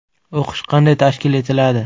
O‘qish qanday tashkil etiladi?